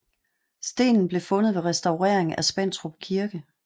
Stenen blev fundet ved restaurering af Spentrup Kirke